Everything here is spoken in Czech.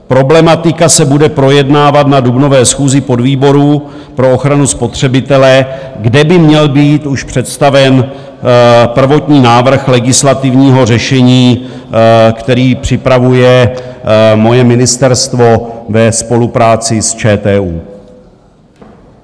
Problematika se bude projednávat na dubnové schůzi podvýborů pro ochranu spotřebitele, kde by měl být už představen prvotní návrh legislativního řešení, který připravuje moje ministerstvo ve spolupráci s ČTÚ.